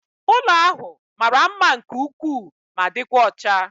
Ụlọ ahụ mara mma nke ukwuu ma dịkwa ọcha